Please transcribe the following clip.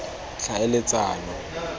tlhaeletsano